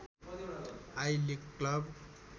I league club